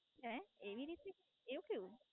હે? એવી રીતે? એવું કેવું?